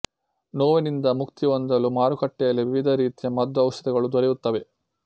ನೋವಿನಿಂದ ಮುಕ್ತಿಹೊಂದಲು ಮಾರುಕಟ್ಟೆಯಲ್ಲಿ ವಿವಿಧ ರೀತಿಯ ಮದ್ದು ಔಷಧಗಳು ದೊರೆಯುತ್ತವೆ